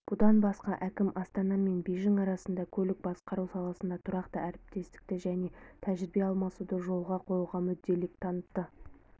бұдан басқа әкім астана мен бейжің арасында көлік басқару саласында тұрақты әріптестікті және тәжірибе алмасуды жолға қоюға мүдделілік танытты